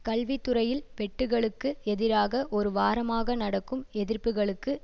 கல்வி துறையில் வெட்டுகளுக்கு எதிராக ஒரு வாரமாக நடக்கும் எதிர்ப்புக்களுக்கு